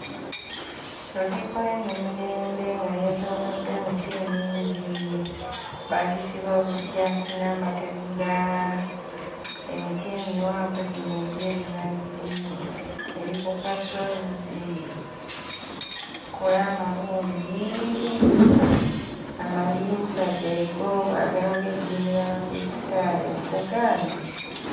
Lutikko y'e Namirembe nga yeetooloddwa emiti emingi, baagisiba obujjansi n'amategula, emiti emiwanvu gino egy'ebinazi, eri ku kasozi kkulaamalungi, amadinsa geego agalaga eddiini y'Abakulisitaayo. Nkugambye!